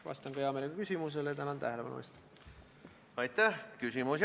Kas te jätate selle täiesti enda teada ja nimetate ennast juhatuseks?